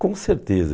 Com certeza.